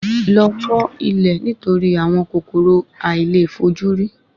Lọ fọ ilẹ̀ nitori àwọn kòkòrò àìlèfojúrí